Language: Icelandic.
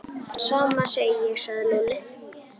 Sama segi ég sagði Lúlli.